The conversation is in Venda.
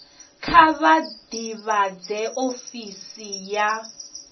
kha vha ḓivhadze ofisi ya